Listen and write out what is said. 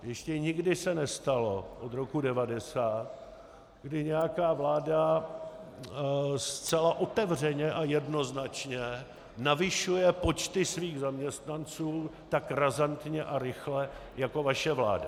Ještě nikdy se nestalo od roku 1990, kdy nějaká vláda zcela otevřeně a jednoznačně navyšuje počty svých zaměstnanců tak razantně a rychle jako vaše vláda.